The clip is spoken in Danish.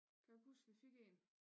Kan du ikke huske vi fik en